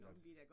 At